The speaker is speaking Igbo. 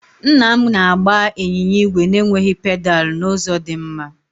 Nna m na-agba ịnyịnya ígwè na-enweghị pedal n'ụzọ dị mma.